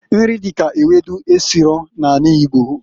Nri dika ewedu esiro na anị Igbo.